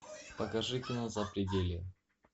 покажи кино запределье